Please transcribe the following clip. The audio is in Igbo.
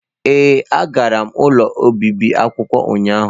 Ee, agara m ụlọ obibi akwụkwọ ụnyahụ